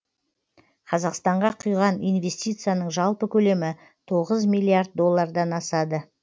қазақстанға құйған инвестицияның жалпы көлемі тоғыз миллиард доллардан асады